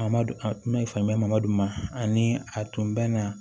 A ma a tun bɛ faama duma ani a tun bɛ na